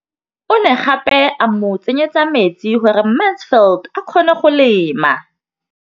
O ne gape a mo tsenyetsa metsi gore Mansfield a kgone go lema.